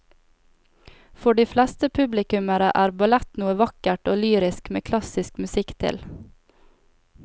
For de fleste publikummere er ballett noe vakkert og lyrisk med klassisk musikk til.